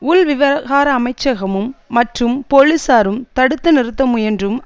உள் விவகார அமைச்சகமும் மற்றும் போலீஸாரும் தடுத்து நிறுத்த முயன்றும்